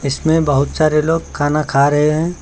इसमें बहोत सारे लोग खाना खा रहे हैं।